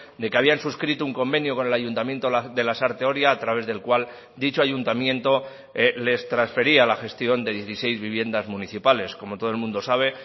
de que habían suscrito un convenio con el ayuntamiento de lasarte oria a través del cual dicho ayuntamiento les transfería la gestión de dieciséis viviendas municipales como todo el mundo sabe